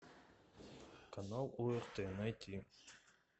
канал орт найти